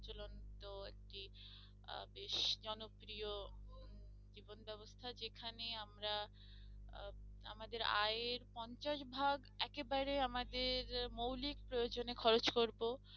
তো আর কি আহ বেশ জনপ্রিয় জীবন ব্যবস্থা যেখানে আমরা আহ আমাদের আয়ের পঞ্চাশ ভাগ একেবারে আমাদের মৌলিক প্রয়োজনে খরচ করবো